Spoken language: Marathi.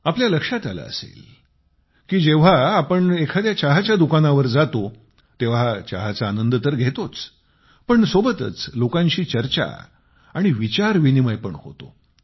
आपल्याला लक्षात आले असेल की जेव्हा आपण एखाद्या चहाच्या दुकानावर जातो तेव्हा चहाचा आनंद तर घेतोच पण सोबतच लोकांशी चर्चा आणि विचार विनिमय पण करतो